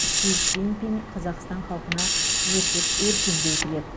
си цзиньпин қазақстан халқына өсіп өркендеу тілеп